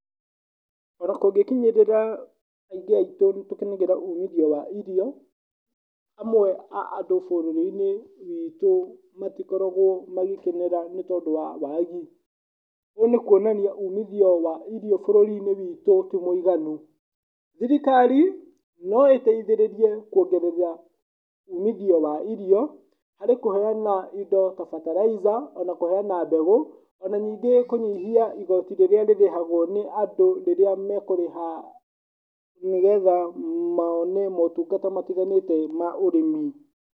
Ona kũngĩ kinyĩrĩra aingĩ aitũ nĩ tũkenagĩrĩra ũmithio wa irio, amwe a andũ bũrũri-inĩ witũ matikoragwo magĩkenerera nĩ tondũ wa wagi. Ũũ nĩ kuonania atĩ umithio wa irio bũrũri-inĩ witũ ti mũiganu. Thirikari, no ĩteithĩrĩrie kuongerera umithio wa irio, harĩ kũheana indo ta ferterlizer ona kũheana mbegũ, ona ningĩ kũnyihia igooti rĩrĩa rĩrĩhagwo nĩ andũ rĩrĩa mekũrĩha, nĩgetha mone motungata matiganĩte ma ũrĩmi.